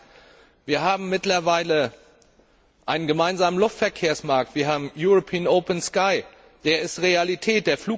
Das heißt, wir haben mittlerweile einen gemeinsamen Luftverkehrsmarkt, wir haben European Open Sky, der ist Realität.